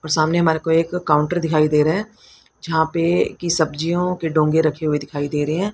और सामने हमारे को एक काउंटर दिखाई दे रहे जहां पे की सब्जियों के डोंगे रखे हुए दिखाई दे रहे है।